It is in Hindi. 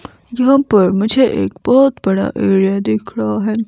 यहां पर मुझे एक बहोत बड़ा एरिया दिख रहा है।